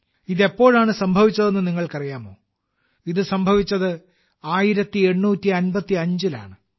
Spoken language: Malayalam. ഇത് എപ്പോഴാണ് സംഭവിച്ചതെന്ന് നിങ്ങൾക്കറിയാമോ ഇത് സംഭവിച്ചത് 1855 ലാണ്